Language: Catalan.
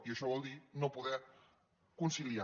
i això vol dir no poder conciliar